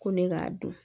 Ko ne k'a dɔn